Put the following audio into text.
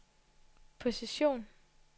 position